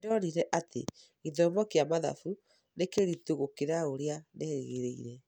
Nĩ ndonire atĩ gĩthomo kĩa mathabu nĩ kĩritũ gũkĩra ũrĩa nderĩgĩrĩire.